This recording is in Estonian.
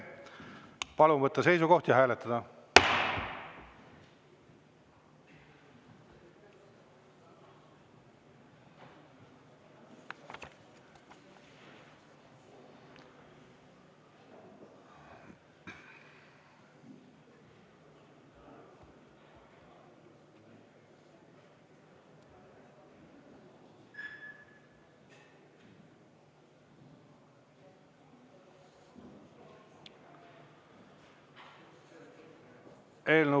Palun võtta seisukoht ja hääletada!